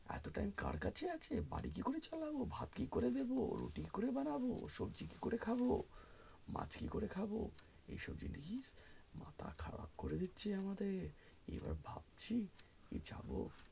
এত time কার কাছে আছে বাড়ি কি করে চলবো ভাত কি করে দেব রুটি কি করে বানাবো সবজি কি করে খাবো মাছ কি করে খাবো এইসব জিনিস মাথা খারাপ করে দিচ্ছে আমাদের এবার ভাবছি যাবো